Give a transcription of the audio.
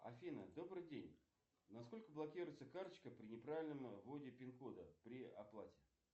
афина добрый день на сколько блокируется карточка при неправильном вводе пин кода при оплате